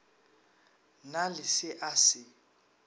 na le se a se